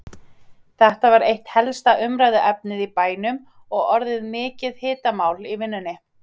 Þetta var eitt helsta umræðuefnið í bænum og orðið mikið hitamál í vinnunni.